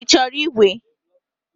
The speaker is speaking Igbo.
Ị chọrọ ígwè?